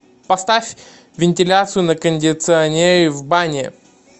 поставь вентиляцию на кондиционере в бане